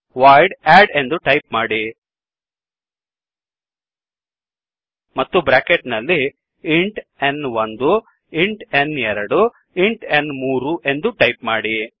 void add ಎಂದು type ಮಾಡಿ ಮತ್ತು ಬ್ರ್ಯಾಕೆಟ್ ನಲ್ಲಿ int n one int n two int ನ್3 ಎಂದು ಟೈಪ್ ಮಾಡಿ